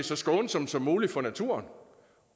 så skånsomt som muligt for naturen